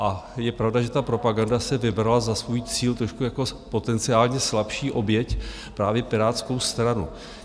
A je pravda, že ta propaganda si vybrala za svůj cíl trošku jako potenciálně slabší oběť právě Pirátskou stranu.